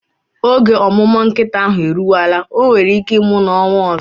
Oge omumu nkita ahu eruwela, onwere ike imu na onwa ozo